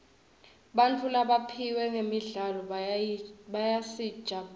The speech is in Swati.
bantfu labaphiwe ngemidlalo bayasijabulisa